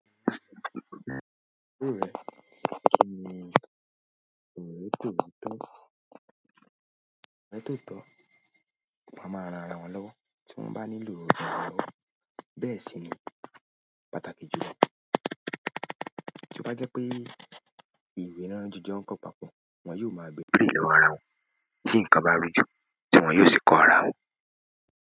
Tí wọ́n bá nílò ìrànlọ́wọ́, bẹ́ẹ̀ sì ni pàtàkì jùlọ. Tí o bá jẹ́ pé ìwé ni wọ́n jọ jọ ń kó papọ̀, wọ́n yóò máa bèèrè lọ́wọ́ ara wọn tí nǹkan bá rújú tí wọ́n yóò sì kọ ara wọn.